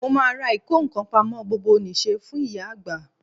mo máa ra ìkó ǹkan pamọ́ gbogbonise fún ìyá agba